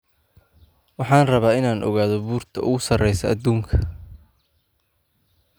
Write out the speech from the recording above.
Waxaan rabaa inaan ogaado buurta ugu sareysa aduunka